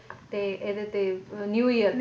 ਤੇ ਇਹਦੇ ਤੇ New Year ਤੇ